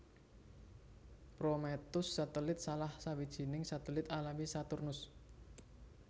Prometheus satelit salah sawijining satelit alami Saturnus